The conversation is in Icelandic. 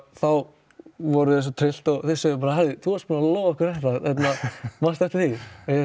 þá voru þau svo tryllt og þau sögðu þú varst búinn að lofa okkur þessu manstu eftir því